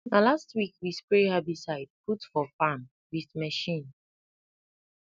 na last week we spray herbicide put for farm with machine